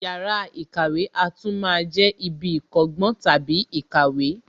Yàrá ìkàwé a tún máa jẹ ibi ìkọ́gbọ́n / ìkàwé